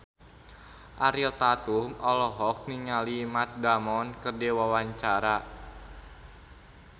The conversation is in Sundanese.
Ariel Tatum olohok ningali Matt Damon keur diwawancara